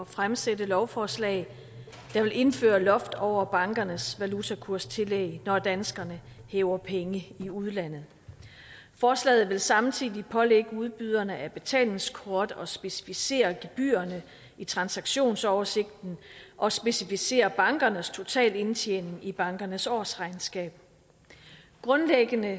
fremsætte lovforslag der vil indføre loft over bankernes valutakurstillæg når danskerne hæver penge i udlandet forslaget vil samtidig pålægge udbyderne af betalingskort at specificere gebyrerne i transaktionsoversigten og specificere bankernes totalindtjening i bankernes årsregnskab grundlæggende